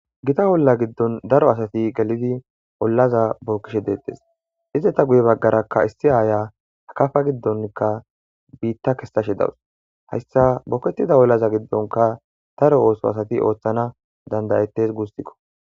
gita olla giddon daro asati gelidi ollaza bookkishe deettes ize ta guye baggarakka issi aaya akafa giddonkka biitta kessa shi dawus hayssa bokettida ollaza giddonka daro ooso asati ooththana dandayettes guussikko